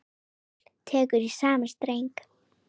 Páll tekur í sama streng.